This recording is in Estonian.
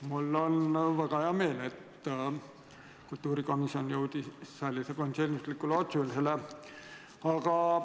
Mul on väga hea meel, et kultuurikomisjon jõudis sellisele konsensuslikule otsusele.